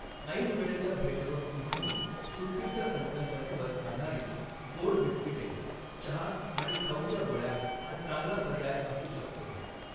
ऐनवेळच्या भेटवस्तू म्हणून सुट्टीच्या संकल्पनेवर आधारित गोड बिस्किटे, चहा आणि खाऊच्या गोळ्या हा चांगला पर्याय असू शकतो.